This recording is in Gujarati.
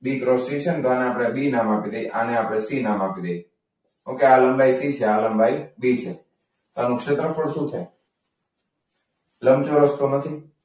બી છે ને તો આને આપણે બી નામ આપી દઈએ. આને આપણે સી નામ આપી દઈએ. ઓકે આ લંબાઈ સી છે. આ લંબાઈ બી છે. તો આનું ક્ષેત્રફળ શું છે? લંબચોરસ તો નથી